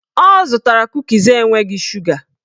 Ọ zụtara kukis enweghị shuga